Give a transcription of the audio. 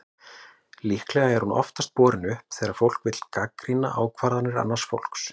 Líklega er hún oftast borin upp þegar fólk vill gagnrýna ákvarðanir annars fólks.